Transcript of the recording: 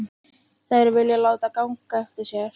Þær vilja láta ganga eftir sér.